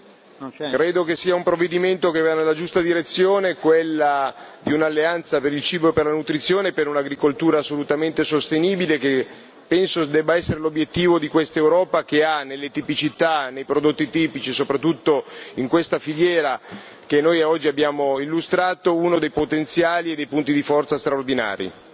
Signor Presidente, onorevoli colleghi, credo che sia un provvedimento che va nella giusta direzione, quella di un'alleanza per il cibo e per la nutrizione, per un'agricoltura assolutamente sostenibile, che penso debba essere l'obiettivo di questa Europa che ha nelle tipicità, nei prodotti tipici, soprattutto in questa filiera che noi oggi abbiamo illustrato, uno dei potenziali e dei punti di forza straordinari.